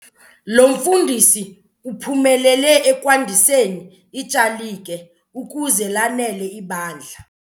Lo mfundisi uphumelele ekwandiseni ityalike ukuze lanele ibandla.